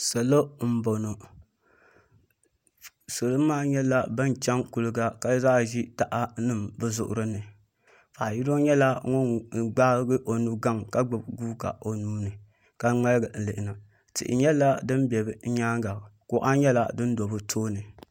Salo n boŋo salo maa nyɛla ban chɛŋ kuliga ka bi zaa ʒi taha nim bi zuɣuri ni paɣa yino nyɛla ŋun gbaagi o nugaŋ ka gbubi guuka o nuuni ka ŋmaligi n lihina